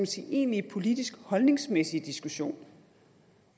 sige egentlige politisk holdningsmæssige diskussion